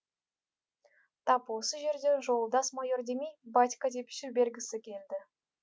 тап осы жерде жолдас майор демей батька деп жібергісі келді